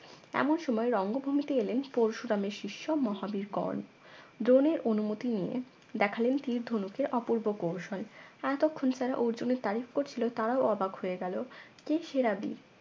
এমন সময় রঙ্গভূমিতে এলেন পরশুরামের শিষ্য মহাবীর কর্ণ দ্রোনের অনুমতি নিয়ে দেখালেন তীর ধনুকের অপূর্ব কৌশল এতক্ষণ যারা অর্জুনের তারিফ করছিল তারাও অবাক হয়ে গেল কে সেরা বীর